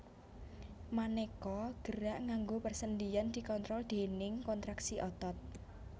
Manéka gerak nganggo persendian dikontrol déning kontraksi otot